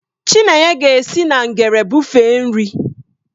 Chinenye ga-esi na ngere bụfee nri.